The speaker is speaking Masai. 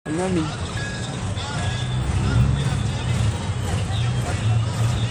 Eunoto engitata nashula keret aitobir empiron enkulupuoni.